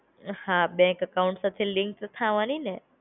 હા, bank account પછી link થવાની ને.